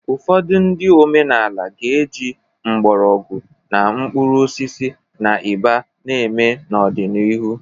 Ụfọdụ ndị omenaala ga-eji mgbọrọgwụ na mkpuru osisi na ịba na-eme n'ọdịnihu